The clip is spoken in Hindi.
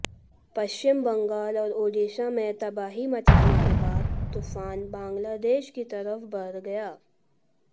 पश्चिम बंगाल और ओडिशा में तबाही मचाने के बाद तूफान बांग्लादेश की तरफ बढ़ गया